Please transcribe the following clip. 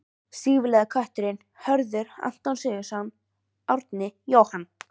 Stígvélaði kötturinn: Hörður, Anton Sigurðsson, Árni, Jóhann